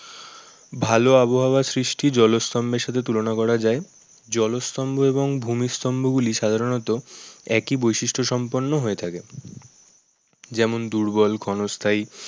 ভালো আবহাওয়ার সৃষ্টি জলস্তম্ভের সাথে তুলনা করা যায়। জলতম্ভ এবং ভূমিতম্ভ গুলি সাধারণত একই বৈশিষ্ট সম্পূর্ণ হয়ে থাকে যেমন দূর্বল ঘনস্থায়ী